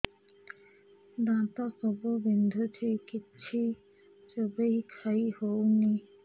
ଦାନ୍ତ ସବୁ ବିନ୍ଧୁଛି କିଛି ଚୋବେଇ ଖାଇ ହଉନି